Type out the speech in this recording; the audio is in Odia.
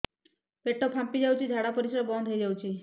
ପେଟ ଫାମ୍ପି ଯାଉଛି ଝାଡା ପରିଶ୍ରା ବନ୍ଦ ହେଇ ଯାଉଛି